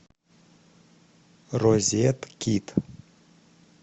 розеткит